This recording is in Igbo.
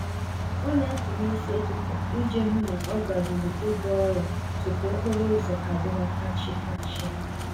Ọ na-apụ n'isi ụtụtụ iji hụ na ọ garueu ebe ọrụ tupu okporo ụzọ adịwa fachi-fachi